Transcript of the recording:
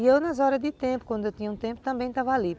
E eu, nas horas de tempo, quando eu tinha um tempo, também estava ali.